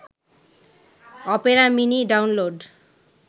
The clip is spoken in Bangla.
Opera Mini download